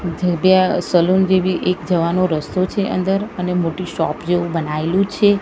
Salon જેવી એક જવાનો રસ્તો છે અંદર અને મોટી શોપ જેવું બનાઇલું છે.